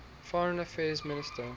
foreign affairs minister